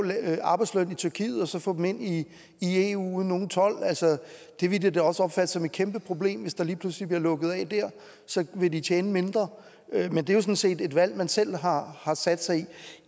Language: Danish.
arbejdsløn i tyrkiet og så få dem ind i eu uden nogen told de ville da også opfatte det som et kæmpeproblem hvis der lige pludselig blev lukket af der så vil de tjene mindre men det er jo sådan set et valg man selv har sat sig i